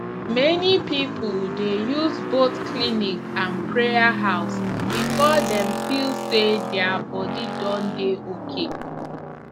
many people dey use both clinic and prayer house before dem feel say their body don dey okay